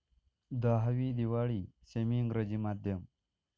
दहावी दिवाळी सेमी इंग्रजी माध्यम